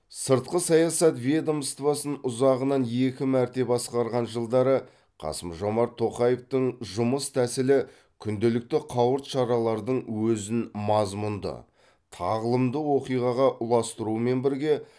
сыртқы саясат ведомствосын ұзағынан екі мәрте басқарған жылдары қасым жомарт тоқаевтың жұмыс тәсілі күнделікті қауырт шаралардың өзін мазмұнды тағлымды оқиғаға ұластыруымен бірге